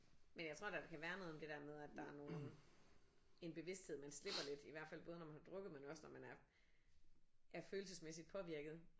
Men jeg tror da der kan være noget om det der med at der er nogen en bevidsthed man slipper lidt i hvert fald både når man har drukket men også når man er er følelsesmæssigt påvirket